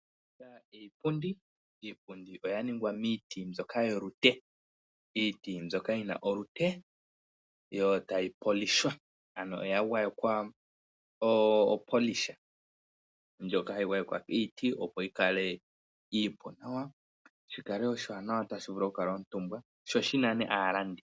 Iipundi oya ningwa miiti mbyoka yolute, iiti mbyoka yina olute yo tayi polishwa ano ya gwayekwa opolisha mbyoka hayi gwayekwa iiti opo yikale iipu nawa, shikale oshiwanawa tashi vulu okukalwa omutumba ano sho shinane aalandi